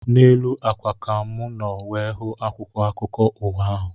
N'elu ákwà ka mụ nọ wee hụ akwụkwọ akụkọ ụwa ahụ